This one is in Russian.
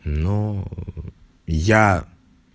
но я